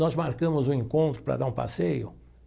Nós marcamos um encontro para dar um passeio.